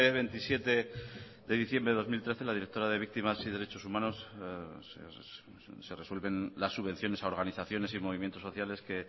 veintisiete de diciembre de dos mil trece la directora de víctimas y derechos humanos se resuelven las subvenciones a organizaciones y movimientos sociales que